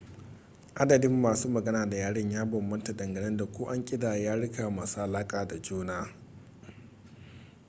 adadin masu magana da yaren ya bambanta dangane da ko an ƙidaya yaruka masu alaƙa da juna